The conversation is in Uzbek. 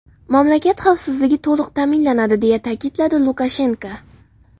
Mamlakat xavfsizligi to‘liq ta’minlanadi”, deya ta’kidlagan Lukashenko.